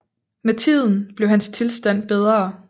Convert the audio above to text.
Med tiden blev hans tilstand bedre